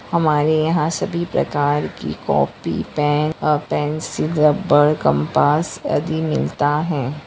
हमारे यहा सभी प्रकार की कॉपी पेन और पेन्सिल रबर कंपास आदि मिलता है।